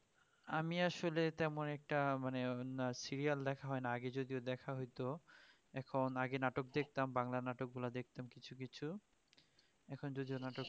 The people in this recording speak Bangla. আমি আসলে তেমন অনেকটা মানে serial দেখা হয়না আগে যদিও দেখা হইত এখন আগে নাটক দেখতাম বাংলা নাটকগুলা দেখতাম কিছু কিছু এখন যদিও নাটক